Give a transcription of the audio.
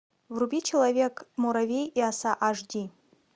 вруби человек муравей и оса аш ди